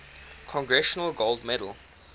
congressional gold medal